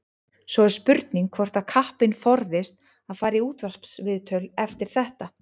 Svo er spurning hvort að kappinn forðist að fara í útvarpsviðtöl eftir þetta.